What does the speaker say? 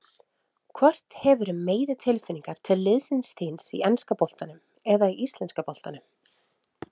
Hvort hefurðu meiri tilfinningar til liðsins þíns í enska boltanum eða í íslenska boltanum?